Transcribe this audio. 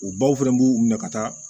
U baw fɛnɛ b'u minɛ ka taa